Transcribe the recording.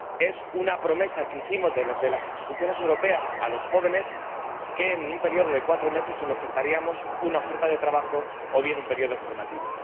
Es una promesa que hicimos desde las instituciones europeas a los jóvenes de que en un periodo de cuatro meses les ofertaríamos una oferta de trabajo o bien un periodo formativo.